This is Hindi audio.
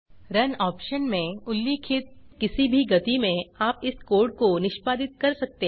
रुन आप्शन में उल्लिखित किसी भी गति में आप इस कोड को निष्पादित कर सकते है